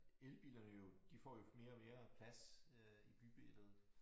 Elbilerne jo de får jo mere og mere plads øh i bybilledet